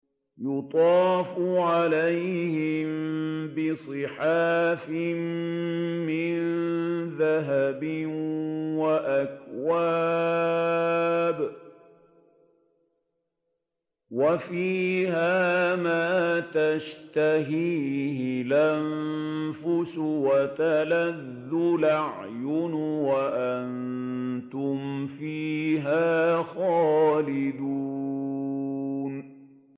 يُطَافُ عَلَيْهِم بِصِحَافٍ مِّن ذَهَبٍ وَأَكْوَابٍ ۖ وَفِيهَا مَا تَشْتَهِيهِ الْأَنفُسُ وَتَلَذُّ الْأَعْيُنُ ۖ وَأَنتُمْ فِيهَا خَالِدُونَ